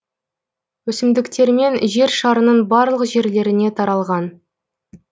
өсімдіктермен жер шарының барлық жерлеріне таралған